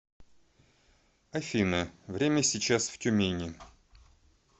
афина время сейчас в тюмени